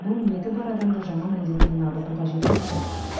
бұл ниеті бар адамды жаман әдетінен арылтуға жеткілікті